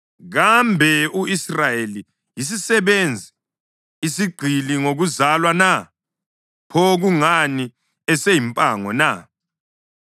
Kambe u-Israyeli yisisebenzi, isigqili ngokuzalwa na? Pho kungani eseyimpango na?